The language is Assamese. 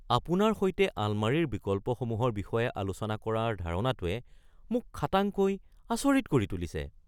আপোনাৰ সৈতে আলমাৰীৰ বিকল্পসমূহৰ বিষয়ে আলোচনা কৰাৰ ধাৰণাটোৱে মোক খাটাংকৈ আচৰিত কৰি তুলিছে।